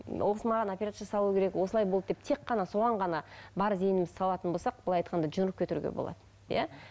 ол кісі маған операция жасалуы керек осылай болды деп тек қана соған ғана бар зейінімізді салатын болсақ былай айтқанда кетуге болады иә